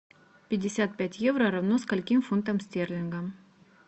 пятьдесят пять евро равно скольким фунтам стерлингам